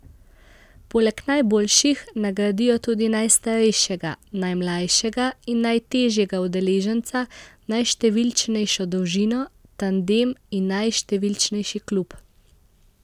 Poleg najboljših, nagradijo tudi najstarejšega, najmlajšega in najtežjega udeleženca, najštevilčnejšo družino, tandem in najštevilčnejši klub.